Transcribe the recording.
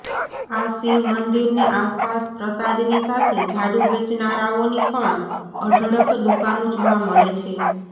આ શીવ મંદિરની આસપાસ પ્રસાદની સાથે ઝાડુ વેચનારાઓની પણ અઢળક દુકાનો જોવા મળે છે